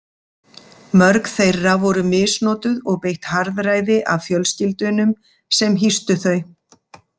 Mörg þeirra voru misnotuð og beitt harðræði af fjölskyldunum sem hýstu þau.